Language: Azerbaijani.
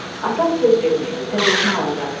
Atam söz vermişdi, təzəsini alacaqdı.